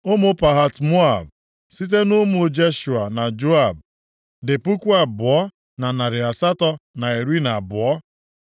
Ụmụ Pahat-Moab (site nʼụmụ Jeshua na Joab), dị puku abụọ na narị asatọ na iri na abụọ (2,812).